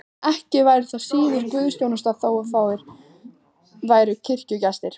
Ekki væri það síður guðsþjónusta þótt fáir væru kirkjugestirnir.